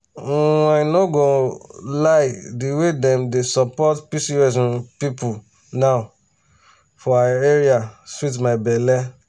um i no um go lie di way dem dey support pcos um people now for our area sweet my belle.